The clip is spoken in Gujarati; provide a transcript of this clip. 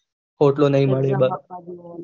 ઊટલો નહી મળે એ બાર